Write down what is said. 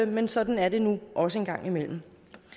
men sådan er det nu også en gang imellem